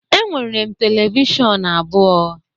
Enwere m televishọn abụọ